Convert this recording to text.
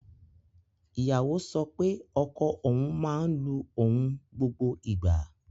Ìyàwó sọ pé ọkọ òun máa ń lu òun gbogbo ìgbà